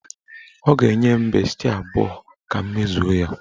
Ọ ga-enye m besti abụọ ka m mezuo ya.